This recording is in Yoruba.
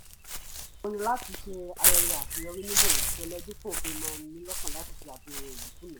mo yàn láti ṣe ayẹyẹ àṣeyọrí ní bòńkẹ́lẹ́ dípò kì ń máa nii lọ́kàn láti ṣe àfihàn ìnákúnàá